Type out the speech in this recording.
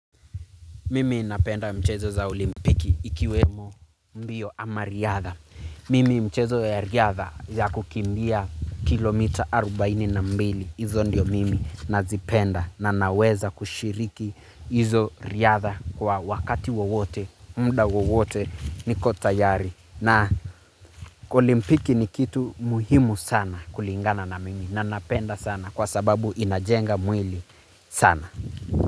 Mimi napenda mchezo za olimpiki ikiwemo mbio ama riadha. Mimi mchezo ya riadha ya kukimbia kilomita arubaini na mbili. Izo ndio mimi nazipenda na naweza kushiriki izo riadha kwa wakati wowote, muda wowote niko tayari. Na olimpiki ni kitu muhimu sana kulingana na mimi na napenda sana kwa sababu inajenga mwili sana.